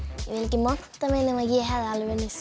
monta mig en ég hefði alveg unnið